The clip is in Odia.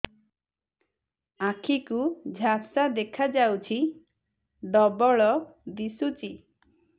ଆଖି କୁ ଝାପ୍ସା ଦେଖାଯାଉଛି ଡବଳ ଦିଶୁଚି